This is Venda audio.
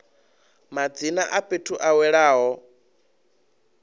madzina a fhethu a welaho